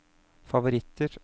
favoritter